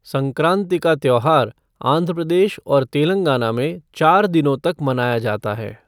संक्रांति का त्यौहार आंध्र प्रदेश और तेलंगाना में चार दिनों तक मनाया जाता है।